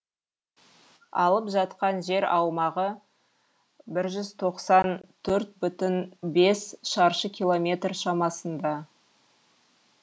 алып жатқан жер аумағы бір жүз тоқсан төрт бүтін бес шаршы километр шамасында